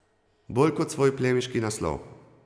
Bolj kot svoj plemiški naslov.